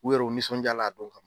U yɛrɛ, u nisɔndiya la a dɔn kama.